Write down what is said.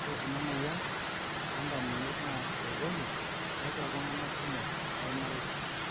ore ena moyian oo ndamunot naa etejoki tiatua itunganak kumok lormarei